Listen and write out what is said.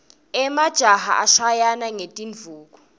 emajaha ashayana ngetindvuku